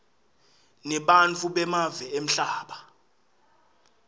nebantfu bemave emhlaba